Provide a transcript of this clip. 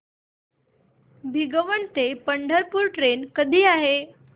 भिगवण ते पंढरपूर ट्रेन कधी आहे